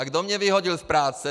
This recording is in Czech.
A kdo mě vyhodil z práce?